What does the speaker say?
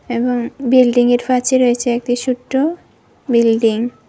এবং বিল্ডিংয়ের পাচে রয়েছে একটি সোট্ট বিল্ডিং ।